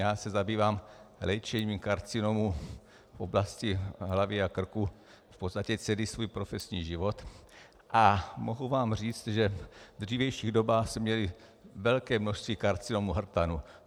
Já se zabývám léčením karcinomů v oblasti hlavy a krku v podstatě celý svůj profesní život a mohu vám říct, že v dřívějších dobách jsme měli velké množství karcinomů hrtanu.